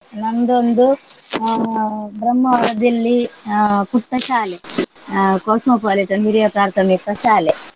ನಂದೊಂದು ಅಹ್ ಬ್ರಹ್ಮಾವರದಲ್ಲಿ ಅಹ್ ಪುಟ್ಟ ಶಾಲೆ ಅಹ್ ಕಾಸ್ಮೊಪಾಲಿಟನ್ ಹಿರಿಯ ಪ್ರಾಥಮಿಕ ಶಾಲೆ.